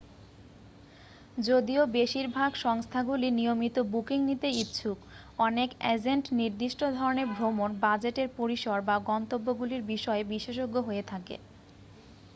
যদিও বেশিরভাগ সংস্থাগুলি নিয়মিত বুকিং নিতে ইচ্ছুক অনেক অ্যাজেন্ট নির্দিষ্ট ধরণের ভ্রমণ বাজেটের পরিসর বা গন্তব্যগুলির বিষয়ে বিশেষজ্ঞ হয়ে থাকে